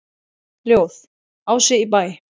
Ljóð: Ási í Bæ